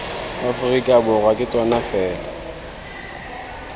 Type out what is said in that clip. aforika borwa ke tsona fela